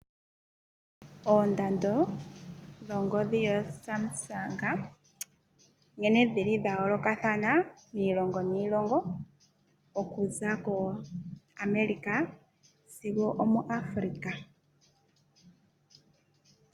Oondando dhongodhi yo SAMSUNG nkene dhili dhayolokathana miilonga niilongo okuza koAmerica sigo muAfrica.